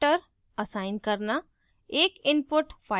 एक output file descriptor assign करना